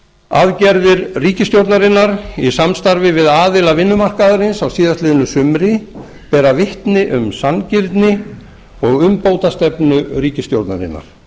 aðgerðir ríkisstjórnarinnar í samstarfi við aðila vinnumarkaðarins á síðasta sumri bera vitni um sanngirni og umbótastefnu ríkisstjórnarinnar